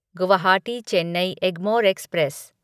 Guwahati Chennai Egmore express